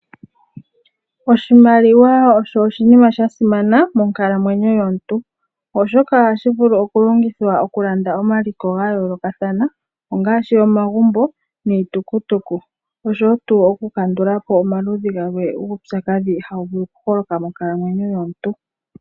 Oshimaliwa osho oshinima sha simana monkalamwenyo yomuntu, oshoka ohashi vulu oku longithwa okulanda omaliko ga yoolokathana, ongaashi omagumbo niitukutuku, noshowo tuu oku kandula po omaludhi galwe guupyakadhi haga vulu okuholoka monkalamwenyo yomuntu.